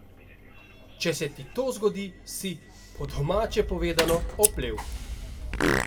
Če se ti to zgodi, si, po domače povedano, oplel.